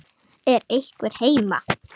Er einhver heima?